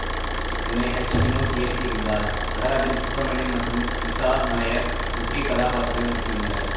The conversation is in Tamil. இதனை ஹச் வினோத் இயக்கியிருந்தார் நடராஜன் சுப்பிரமணியம் மற்றும் இசா நாயர் முக்கிய கதாப்பாத்திரத்தில் நடித்திருந்தனர்